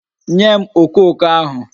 Nye m okoko ahu